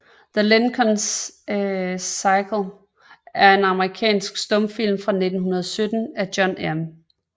The Lincoln Cycle er en amerikansk stumfilm fra 1917 af John M